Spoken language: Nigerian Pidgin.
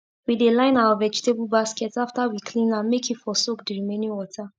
we dey line our vegetable basket after we clean am make e for soak d remaining water